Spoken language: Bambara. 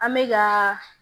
An bɛ gaa